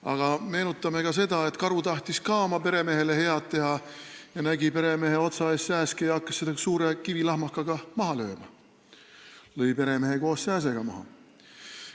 Aga meenutame, et karu tahtis ka oma peremehele head teha, nägi peremehe otsa ees sääske, hakkas seda suure kivilahmakaga maha lööma ning lõi koos sääsega ka peremehe maha.